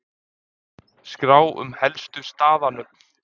Skrá um helstu staðanöfn